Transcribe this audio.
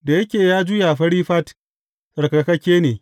Da yake ya juya fari fat, tsarkakakke ne.